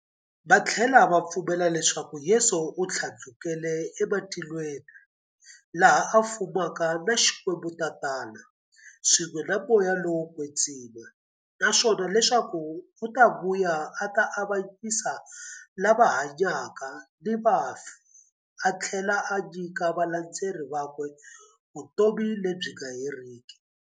Vathlela va pfumela leswaku Yesu u thlandlukele ematilweni, laha a fumaka na Xikwembu-Tatana, swin'we na Moya lowo kwetsima, naswona leswaku u ta vuya a ta avanyisa lava hanyaka na vafi athlela a nyika valandzeri vakwe vutomi lebyi nga heriki.